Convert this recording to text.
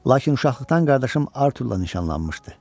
Lakin uşaqlıqdan qardaşım Arturla nişanlanmışdı.